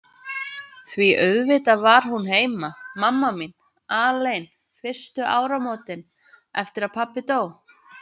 Því auðvitað var hún heima, mamma mín, alein fyrstu áramótin eftir að pabbi dó.